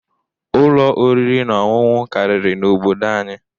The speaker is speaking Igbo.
Ụlọ oriri na ọṅụṅụ karịrị n'obodo anyị.